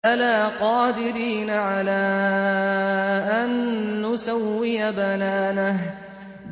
بَلَىٰ قَادِرِينَ عَلَىٰ أَن نُّسَوِّيَ بَنَانَهُ